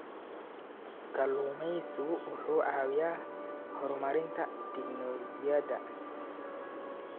Kalluumeysigu wuxuu caawiyaa horumarinta tignoolajiyada.